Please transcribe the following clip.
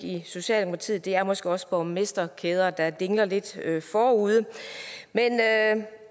i socialdemokratiet og det er måske også borgmesterkæderne der dingler lidt forude men